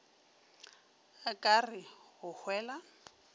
a ka re go hwela